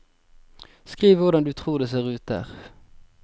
Skriv hvordan du tror det ser ut der.